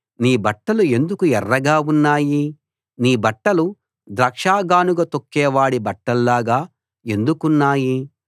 నీ బట్టలు ఎందుకు ఎర్రగా ఉన్నాయి నీ బట్టలు ద్రాక్షగానుగ తొక్కేవాడి బట్టల్లాగా ఎందుకున్నాయి